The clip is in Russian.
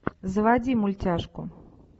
заводи мультяшку